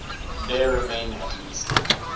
there remain at least